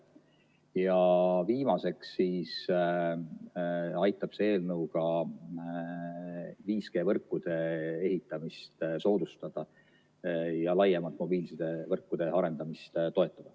Ja viimaseks aitab see eelnõu ka 5G-võrkude ehitamist soodustada ja laiemalt mobiilsidevõrkude arendamist toetada.